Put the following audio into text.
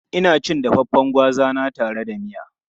Ina cin dafaffen gwaza na tare da miya.